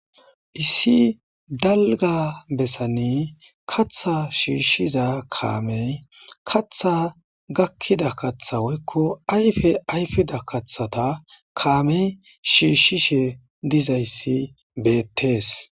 Issi dalga bessani katha shiishshiza kaamey katha gakkida katha woykko ayfe ayfida kathata kaamey shiishshishe dizayssi beettees.